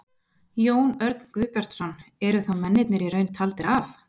Jón Örn Guðbjartsson: Eru þá mennirnir í raun taldir af?